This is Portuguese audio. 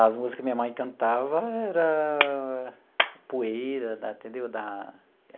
As músicas que minha mãe cantava era Poeira da, entendeu, da.